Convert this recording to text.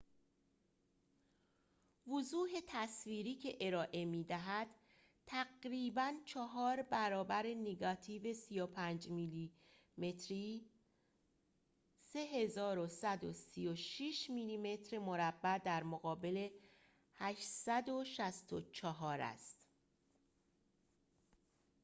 وضوح تصویری که ارائه می‌دهد تقریباً چهار برابر نگاتیو 35 میلی‌متری 3136 میلی‌متر مربع در مقابل 864 است